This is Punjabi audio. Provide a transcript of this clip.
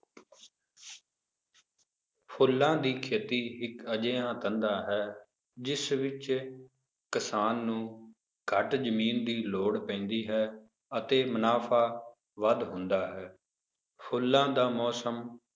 ਫੁੱਲਾਂ ਦੀ ਖੇਤੀ ਇੱਕ ਅਜਿਹਾ ਧੰਦਾ ਹੈ, ਜਿਸ ਵਿੱਚ ਕਿਸਾਨ ਨੂੰ ਘੱਟ ਜ਼ਮੀਨ ਦੀ ਲੋੜ ਪੈਂਦੀ ਹੈ ਅਤੇ ਮੁਨਾਫ਼ਾ ਵੱਧ ਹੁੰਦਾ ਹੈ, ਫੁੱਲਾਂ ਦਾ ਮੌਸਮ